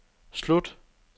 slut